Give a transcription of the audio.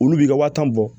Olu b'i ka wa tan bɔ